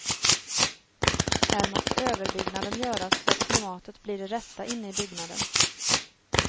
Här måste överbyggnaden göras så att klimatet blir det rätta inne i byggnaden.